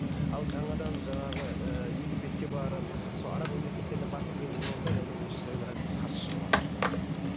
ал жаңадан жаңағы ыыы египетке барып сол араб мемлекеттеріне барып келген имамдар енді бұл кісілер біраз қарсы шығыватыр